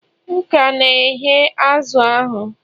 M ka na-ehe azụ̀ ahụ